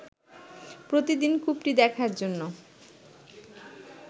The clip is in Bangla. প্রতিদিন কূপটি দেখার জন্য